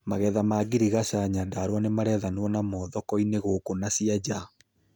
Magentha ma ngirigaca Nyandarua nĩmarethanwo namo thoko-inĩ gũkũ na cĩa nja